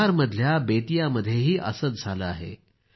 बिहारमधल्या बेतियामध्येही असंच झालं आहे